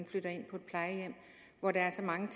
flytter ind på plejehjem hvor der er så mange